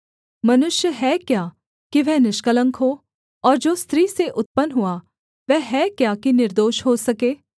मनुष्य है क्या कि वह निष्कलंक हो और जो स्त्री से उत्पन्न हुआ वह है क्या कि निर्दोष हो सके